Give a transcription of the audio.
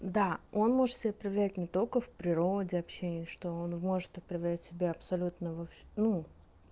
да он может себя проявлять не только в природе общении что он может отправлять себя абсолютно ну